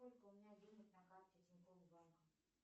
сколько у меня денег на карте тинькофф банка